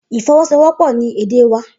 Ifọwọsowọpọ ni ede wa